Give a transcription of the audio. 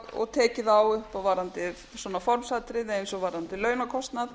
og tekið á eins og varðandi formsatriði eins og varðandi launakostnað